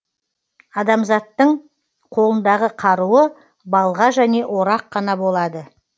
адамзаттың қолындағы қаруы балға және орақ қана болады